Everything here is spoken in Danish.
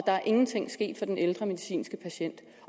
der er ingenting sket for den ældre medicinske patient